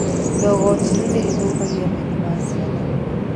Ndogo njirũ nĩthũkagia maitho ma ciana